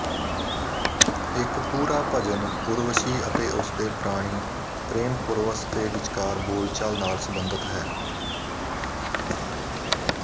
ਇੱਕ ਪੂਰਾ ਭਜਨ ਉਰਵਸ਼ੀ ਅਤੇ ਉਸਦੇ ਪ੍ਰਾਣੀ ਪ੍ਰੇਮ ਪੁਰਵਸ ਦੇ ਵਿਚਕਾਰ ਬੋਲਚਾਲ ਨਾਲ ਸੰਬੰਧਿਤ ਹੈ